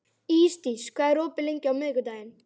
Ísdís, hvað er opið lengi á miðvikudaginn?